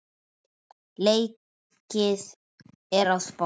Leikið er á Spáni.